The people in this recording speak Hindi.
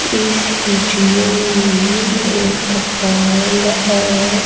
इस वीडियो में एक हॉल है।